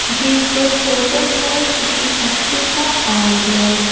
ये एक फोटो है किसी फैक्ट्री का और--